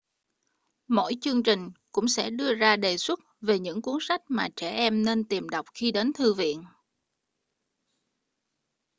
mỗi chương trình cũng sẽ đưa ra đề xuất về những cuốn sách mà trẻ em nên tìm đọc khi đến thư viện